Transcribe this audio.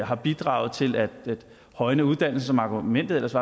har bidraget til at højne uddannelsen som argumentet ellers